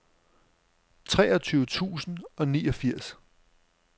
treogtyve tusind og niogfirs